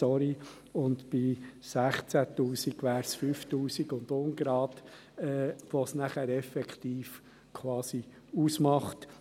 Bei 16 000 Franken wären es 5000 Franken und ein paar zerquetschte, die es effektiv ausmacht.